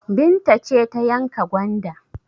Binta ce ta yanka gwanda?